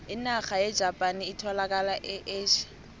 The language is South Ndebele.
inarha yejapani etholakala e asia